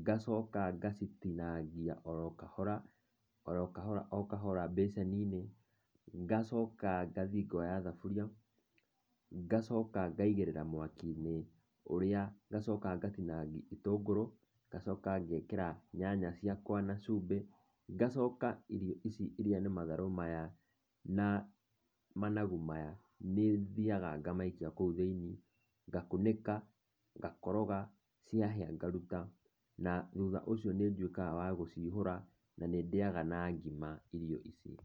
Ngacoka ngacitinangia oro kahora, oro kahora o kahora bacĩni-inĩ, nagacoka ngathiĩ ngoya thaburia, ngacoka ngaigĩrĩra mwaki-inĩ, ũrĩa, ngacoka ngatinangia gĩtũngũrũ, ngacoka ngekĩra nyanya ciakwa na cumbĩ, ngacoka irio ici iria nĩ matharũ maya, na managu maya, nĩthiaga ngamaikia kũu thĩiniĩ, ngakunĩka, ngakoroga, ciahĩa ngaruta. Na, thutha ũcio nĩnduĩkaga wa gũcihura na nĩndĩaga na ngima irio ici.